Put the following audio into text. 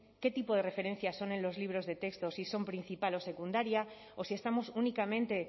qué tipo de referencia son en los libros de texto si son principal o secundaria o si estamos únicamente